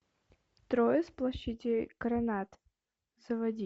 трое с площади карронад заводи